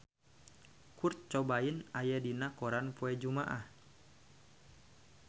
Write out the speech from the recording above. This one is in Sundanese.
Kurt Cobain aya dina koran poe Jumaah